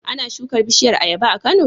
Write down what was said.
Ana shuka bishiyar ayaba a Kano?